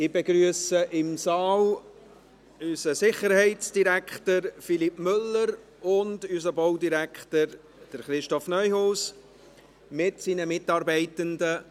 Ich begrüsse im Saal unseren Sicherheitsdirektor Philippe Müller und unseren Baudirektor Christoph Neuhaus mit seinen Mitarbeitenden.